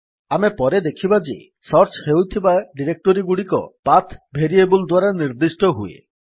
ଆମେ ପରେ ଦେଖିବା ଯେ ସର୍ଚ୍ଚ ହୋଇଥିବା ଡିରେକ୍ଟୋରୀଗୁଡିକ ପାଠ ଭେରିଏବଲ୍ ଦ୍ୱାରା ନିର୍ଦ୍ଦିଷ୍ଟ ହୁଏ